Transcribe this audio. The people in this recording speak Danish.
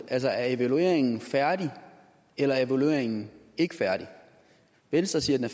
altså er evalueringen færdig eller er evalueringen ikke færdig venstre siger at den